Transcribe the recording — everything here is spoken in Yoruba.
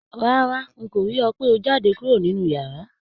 Rárá,n kò rí ọ pe o jáde kúrò nínú yàrá.